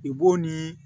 I b'o nii